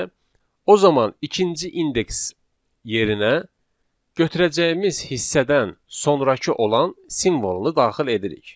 o zaman ikinci indeks yerinə götürəcəyimiz hissədən sonrakı olan simvolunu daxil edirik.